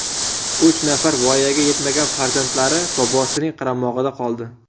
Uch nafar voyaga yetmagan farzandlari bobosining qaramog‘ida qoldi.